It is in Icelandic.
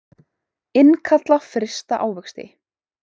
Innkalla frysta ávexti